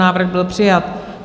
Návrh byl přijat.